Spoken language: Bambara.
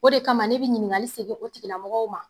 O de kama ne be ɲininkali segen o tigila mɔgɔw ma